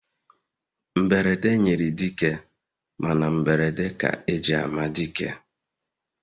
Mberede nyiri dike, Mana mberede ka eji ama dike